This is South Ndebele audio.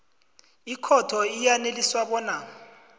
ikhotho iyaneliswa bona